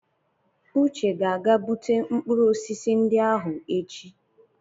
Uche ga-aga bute mkpụrụ osisi ndị ahụ echi.